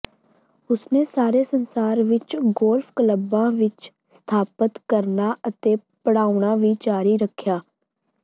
ਉਸਨੇ ਸਾਰੇ ਸੰਸਾਰ ਵਿੱਚ ਗੋਲਫ ਕਲੱਬਾਂ ਵਿੱਚ ਸਥਾਪਤ ਕਰਨਾ ਅਤੇ ਪੜ੍ਹਾਉਣਾ ਵੀ ਜਾਰੀ ਰੱਖਿਆ